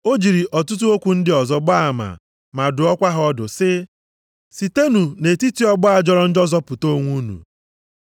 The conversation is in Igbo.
O jiri ọtụtụ okwu ndị ọzọ gbaa ama, ma dụọkwa ha ọdụ sị, “Sitenụ nʼetiti ọgbọ a jọrọ njọ zọpụta onwe unu.”